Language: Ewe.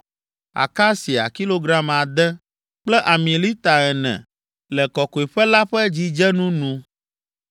‘akasea’ kilogram ade kple ami lita ene le kɔkɔeƒe la ƒe dzidzenu nu.